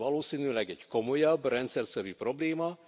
Ez valószínűleg egy komolyabb, rendszerszerű probléma.